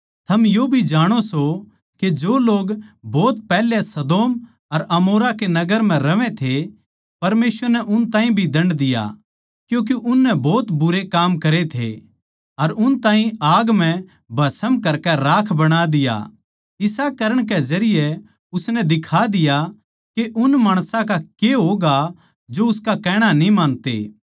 थम यो भी जाणो सों के जो लोग भोत पैहल्या सदोम अर अमोरा के नगर म्ह रहवै थे परमेसवर नै उन ताहीं भी दण्ड दिया क्यूँके उननै भोत बुरे काम करे थे अर उन ताहीं आग म्ह भस्म करके राख बणा दिया इसा करण के जरिये उसनै दिखा दिया के उन माणसां का के होगा जो उसका कहणा न्ही मानते